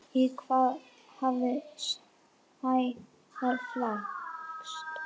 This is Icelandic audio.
Í hvað hafði Sævar flækst?